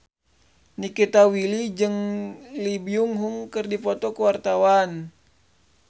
Nikita Willy jeung Lee Byung Hun keur dipoto ku wartawan